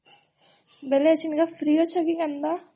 ବେଲେ ଏବେ ଫ୍ରୀ ଅଛ କି ନା ତ?